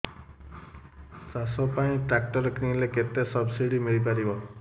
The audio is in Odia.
ଚାଷ ପାଇଁ ଟ୍ରାକ୍ଟର କିଣିଲେ କେତେ ସବ୍ସିଡି ମିଳିପାରିବ